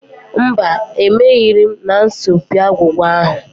Mba, emerighị m n'asọmpi agwụgwa ahụ.